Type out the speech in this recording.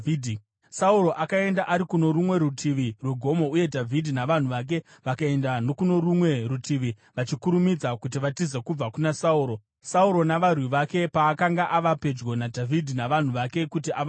Sauro akaenda ari kuno rumwe rutivi rwegomo, uye Dhavhidhi navanhu vake vakaenda nokuno rumwe rutivi, vachikurumidza kuti vatize kubva kuna Sauro. Sauro navarwi vake paakanga ava pedyo naDhavhidhi navanhu vake kuti avabate,